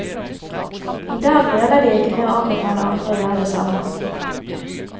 I dag nøler de ikke med å anbefale andre å gjøre det samme.